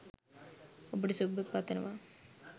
ඔබට සුභ පතනව